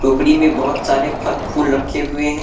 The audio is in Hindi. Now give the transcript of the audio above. में बहुत सारे फल फूल रखे हुए हैं।